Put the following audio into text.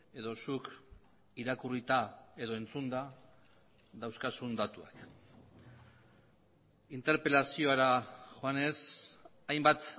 edo zuk irakurrita edo entzunda dauzkazun datuak interpelaziora joanez hainbat